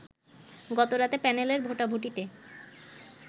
গতরাতে প্যানেলের ভোটাভুটিতে